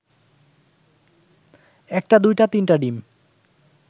একটা দুইটা তিনটা ডিম